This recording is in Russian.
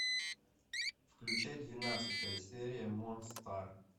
включай двенадцатая серия монстар